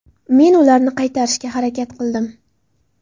Men ularni qaytarishga harakat qildim.